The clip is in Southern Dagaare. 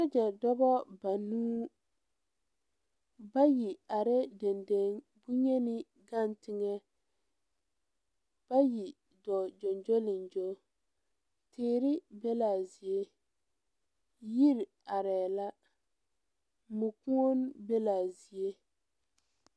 Sogyɛ dɔbɔ banuu bayi arɛɛ deŋ deŋ bonyeni gaŋ teŋɛ bayi dɔɔ gyoŋgyoliŋgyo teere be laa zie yiri arɛɛ la mu kuon be laa zie.